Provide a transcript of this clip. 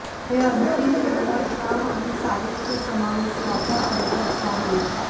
हे अंतिम किंमत काम आणि साहित्य समावेश याचा अर्थ असा होईल